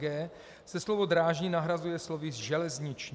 g) se slovo "drážní" nahrazuje slovem "železniční".